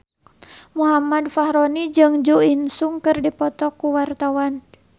Muhammad Fachroni jeung Jo In Sung keur dipoto ku wartawan